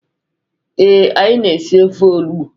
Ee, anyị na-esi ofe onugbu.